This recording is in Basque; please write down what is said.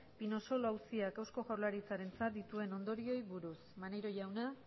pinosolo auziak eusko jaurlaritzarentzat dituen ondorioei buruz maneiro jauna